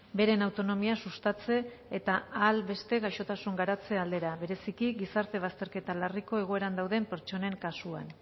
beren autonomia sustatze eta ahal beste gaixotasun garatze aldera bereziki gizarte bazterketa larriko egoeran dauden pertsonen kasua